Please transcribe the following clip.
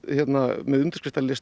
með undirskriftarlista